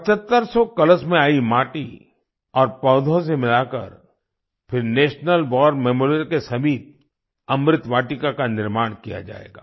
7500 कलश में आई माटी और पौधों से मिलाकर फिर नेशनल वार मेमोरियल के समीप अमृत वाटिका का निर्माण किया जाएगा